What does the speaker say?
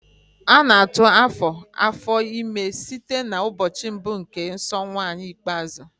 A na-atụ afo afọ ime site n'ụbọchị mbụ nke nsọ nwaanyi ikpeazụ